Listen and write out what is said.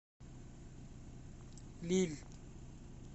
лилль